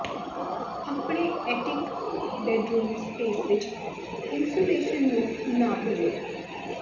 ਆਪਣੇ attic bedroom space ਵਿਚ insulation ਨੂੰ ਨਾ ਭੁੱਲੋ